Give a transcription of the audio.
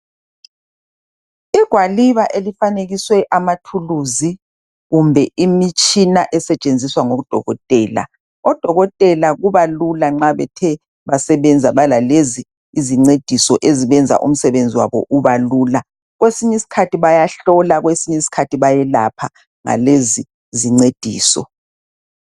Igwaliba elifanekiswe amathuluzi kumbe imitshina esetshenziswa ngodokotela . Odokotela kubalula nxa bethe basebenza belalezi izincediso ezibenza umsebenzi wabo ubelula .Kwesinyi skhathi bayahlola kwesinyi skhathi bayelapha ngalezi zincediso.